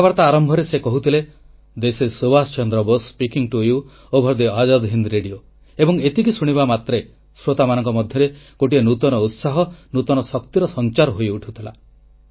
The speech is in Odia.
କଥାବାର୍ତ୍ତା ଆରମ୍ଭରେ ସେ କହୁଥିଲେ this is Subhash Chandra Bose speaking to you over the Azad Hind radio ଏବଂ ଏତିକି ଶୁଣିବା ମାତ୍ରେ ଶ୍ରୋତାମାନଙ୍କ ମଧ୍ୟରେ ଗୋଟିଏ ନୂତନ ଉତ୍ସାହ ନୂତନ ଶକ୍ତିର ସଂଚାର ହୋଇଉଠୁଥିଲା